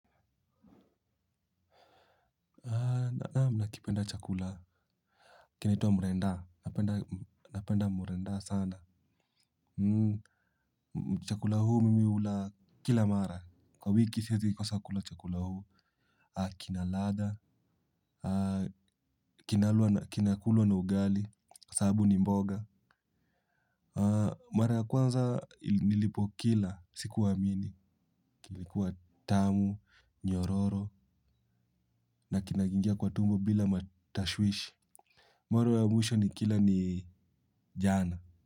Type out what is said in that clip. Nakipenda chakula kinaitwa mrenda. Napenda. Napenda mrenda sana. Chakula huu mimi hula kila mara. Kwa wiki siwezi kosa kula chakula huu. Kina ladha, kinakulwa na ugali kwa sababu ni mboga. Mara ya kwanza nilipokila sikuamini. Kilikuwa tamu, nyororo na kinaingia kwa tumbo bila matashwishi. Mara ya mwisho nikila ni jana.